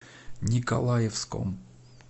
николаевском